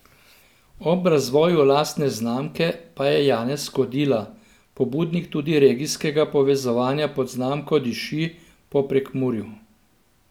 Ob razvoju lastne znamke pa je Janez Kodila pobudnik tudi regijskega povezovanja pod znamko Diši po Prekmurju.